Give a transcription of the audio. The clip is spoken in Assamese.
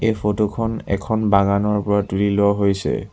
এই ফটোখন এখন বাগানৰ পৰা তুলি লোৱা হৈছে।